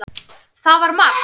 Það var margt.